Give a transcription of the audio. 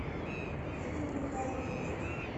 елены михайловны бойко